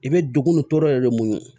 I bɛ degun tɔɔrɔ yɛrɛ de mun